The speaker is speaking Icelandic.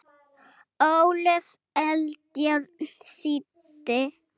Ólöf Eldjárn þýddi.